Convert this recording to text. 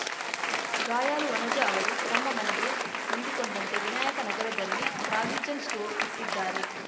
ಗಾಯಾಲು ವನಜಾ ಅವರು ತಮ್ಮ ಮನೆಗೆ ಹೊಂದಿಕೊಂಡಂತೆ ವಿನಾಯಕ ನಗರದಲ್ಲಿ ಪ್ರಾವಿಜನ್‌ ಸ್ಟೋರ್‌ ಇಟ್ಟಿದ್ದಾರೆ